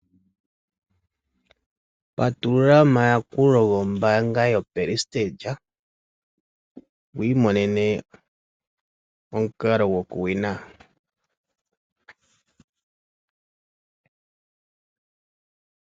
Patulula omayakulo gombaango yoPrestiga, wu imonene omukala go ku vena.